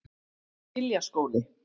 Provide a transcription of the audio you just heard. Giljaskóli